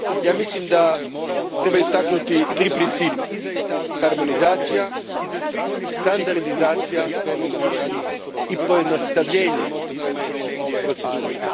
Ja mislim da treba istaknuti tri principa harmonizacija, standardizacija i pojednostavljenje procedura.